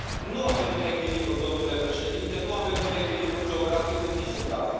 Nu avem un echilibru, domnule Președinte, nu avem un echilibru geografic în niciun caz.